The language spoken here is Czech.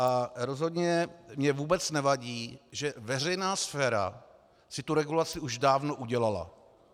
A rozhodně mně vůbec nevadí, že veřejná sféra si tu regulaci už dávno udělala.